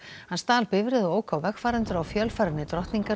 hann stal bifreið og ók á vegfarendur á fjölfarinni